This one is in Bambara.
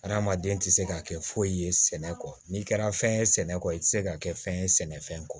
Adamaden tɛ se ka kɛ foyi ye sɛnɛ kɔ n'i kɛra fɛn ye sɛnɛ kɔ i tɛ se ka kɛ fɛn ye sɛnɛfɛn kɔ